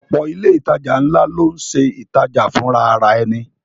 Ọ̀pọ̀ ilé ìtajà ńlá ló ń ṣe ìtajà fùnrarẹni